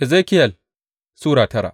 Ezekiyel Sura tara